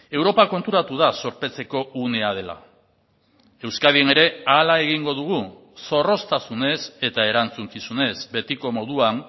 europa konturatu da zorpetzeko unea dela euskadin ere hala egingo dugu zorroztasunez eta erantzukizunez betiko moduan